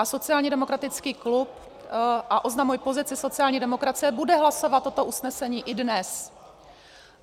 A sociálně demokratický klub, a oznamuji pozici sociální demokracie, bude hlasovat toto usnesení i dnes.